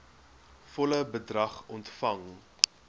volle bedrag ontvang